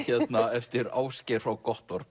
eftir Ásgeir frá